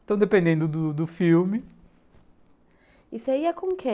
Então, dependendo do do filme... E você ia com quem?